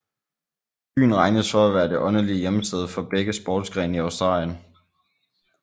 Byen regnes for at være det åndelige hjemsted for begge sportsgrene i Australien